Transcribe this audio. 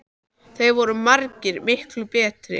Það voru margir miklu betri en